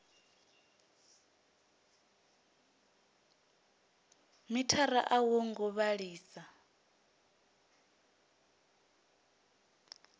mithara a wo ngo vhalisa